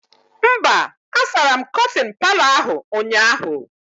Mba, a sara m kọtịn Palọ ahụ ụnyaahụ